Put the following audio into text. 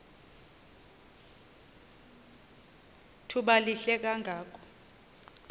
thuba lihle kangako